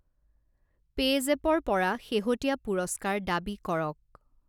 পে'জেপৰ পৰা শেহতীয়া পুৰস্কাৰ দাবী কৰক।